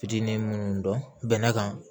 Fitinin munnu dɔn bɛnɛ kan